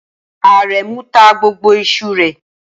Aremu ta gbogbo iṣu rẹ̀